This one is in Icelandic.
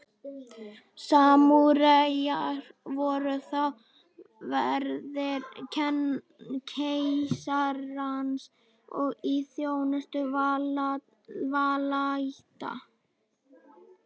samúræjar voru þá verðir keisarans og í þjónustu valdaætta